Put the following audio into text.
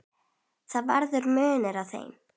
Það verður munur á þeim.